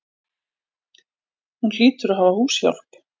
Hún hlýtur að hafa húshjálp.